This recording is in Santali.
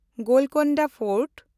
ᱜᱳᱞᱠᱳᱱᱰᱟ ᱯᱷᱳᱨᱴ